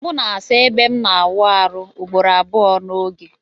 Anam asa ebe mu na awụ arụ ugboro abụọ na oge.